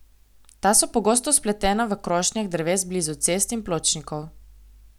Ta so pogosto spletena v krošnjah dreves blizu cest in pločnikov.